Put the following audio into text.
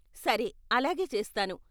సరే అలాగే చేస్తాను.